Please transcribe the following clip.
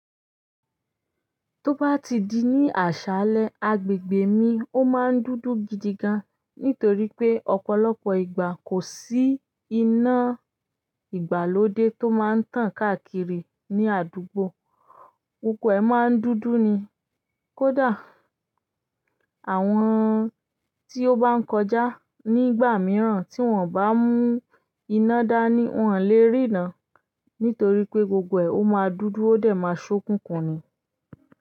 Tó bá ti di ní àṣálẹ́ agbègbè mi ó máa ń dúdú gidi gan nítorí pé ọ̀pọ̀lọpọ̀ ìgbà kò sí iná ìgbàlódé tó máa ń tàn káàkiri ní àdúgbò. Gbogbo e maa n dúdú ni kódà àwọn tí ó bá ń kọjá nígbà mìíràn tí wọ́n o bá mú iná dání, wọ́n ò lè rí irán nítorí pé gbogbo ẹ̀ ó máa dúdú, ó dẹ̀ máa ṣokunkun ni.